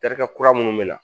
Terikɛ kura minnu bɛ na